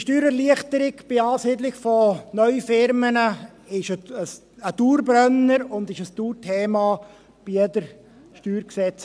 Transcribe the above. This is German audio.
Steuererleichterung bei der Ansiedlung von neuen Unternehmen ist ein Dauerbrenner und ist ein Dauerthema bei jeder StG-Änderung.